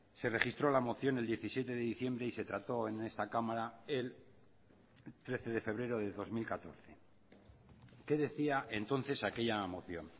se registró la moción el diecisiete de diciembre y se trató en esta cámara el trece de febrero de dos mil catorce qué decía entonces aquella moción